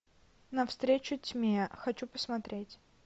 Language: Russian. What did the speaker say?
навстречу тьме хочу посмотреть